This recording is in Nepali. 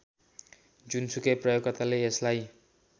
जुनसुकै प्रयोगकर्ताले यसलाई